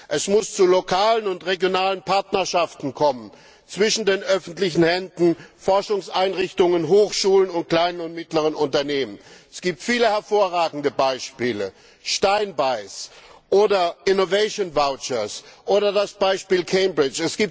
Es muss zu lokalen und regionalen Partnerschaften kommen zwischen der öffentlichen Hand, Forschungseinrichtungen, Hochschulen und kleinen und mittleren Unternehmen. Es gibt viele hervorragende Beispiele Steinbeis oder Innovation Vouchers, oder das Beispiel Cambridge.